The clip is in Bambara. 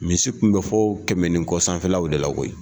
Misi tun bɛ fɔ kɛmɛ ni kɔ sanfɛlaw de la koyi